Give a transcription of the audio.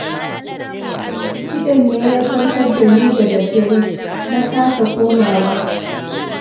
Kiɗan ne ya farkar da ni da daddare, na kasa komawa